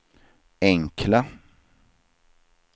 enkla